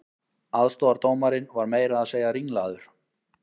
Aðstoðardómarinn var meira að segja ringlaður